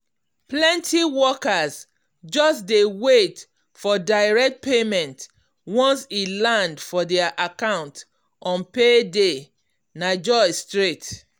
plenty workers just dey wait for direct payment once e land for their account on payday na joy straight.